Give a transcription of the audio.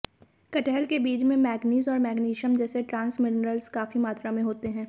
कटहल के बीज में मैग्नीज़ और मैग्नीशियम जैसे ट्रांस मिनरल्स काफी मात्रा में होते हैं